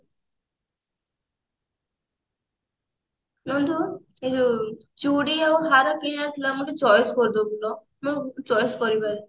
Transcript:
ନନ୍ଦୁ ତୁ ଚୁଡି ଆଉ ହାର କିଣିବାର ଥିଲା ମତେ choice କରିଦେବୁ ଲୋ ମୁଁ choice କରି